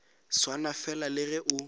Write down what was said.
swana fela le ge o